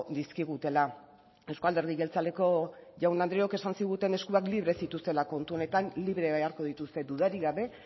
dizkigutela euzko alderdi jeltzaleko jaun andreok esan ziguten eskuak libre zituztela kontu honetan libre beharko dituzte dudarik gabe